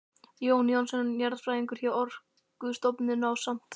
Jón Jónsson jarðfræðingur hjá Orkustofnun ásamt